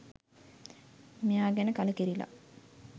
මෙයා ගැන කලකිරිලා.